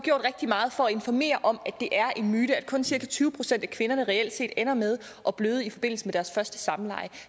gjort rigtig meget for at informere om at det er en myte og at kun cirka tyve procent af kvinderne reelt set ender med at bløde i forbindelse med deres første samleje